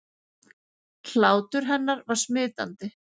Hlátur hennar var smitandi.